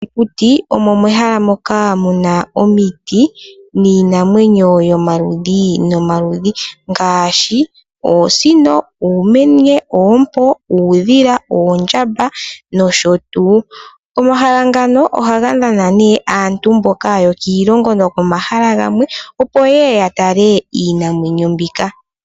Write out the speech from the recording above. Okuti, omo mehalaa moka muns omiti niinamwenyo yomaludhi nomaludhi, ngaashi oosino, oomenye, compound, uudhila, oondjamba no sho tuu. Omahala ngano oha ga Nana nduno aantu yo kiilongo nomahala gamwe opo ye ye ya tale iinamwenyo mbika.